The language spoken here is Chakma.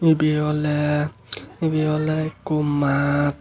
ibey oley ibey oley ekko maat.